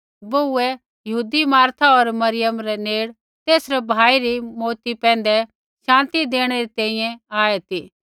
बोहूऐ यहूदी मार्था होर मरियम रै नेड़ तेसरै भाई री मौऊती पैंधै शान्ति देणै री तैंईंयैं आऐ ती